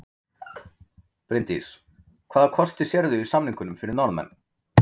Bryndís: Hvaða kosti sérðu í samningunum fyrir Norðmenn?